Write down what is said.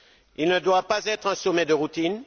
Il ne doit pas être un sommet de routine.